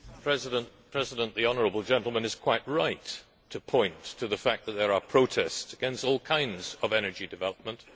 Mr President, the honourable gentleman is quite right to point to the fact that there are protests against all kinds of energy development.